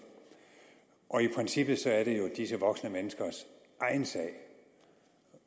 og i princippet er det jo disse voksne menneskers egen sag